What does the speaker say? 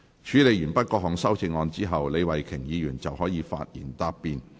處理完畢各項修正案後，李慧琼議員可發言答辯。